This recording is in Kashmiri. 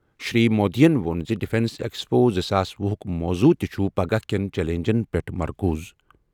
شری مودیَن ووٚن زِ ڈیفنس ایکسپو زٕساس وُہُک موضوع تہِ چھُ پگہہ کٮ۪ن چیلنجَن پٮ۪ٹھ مرکوز۔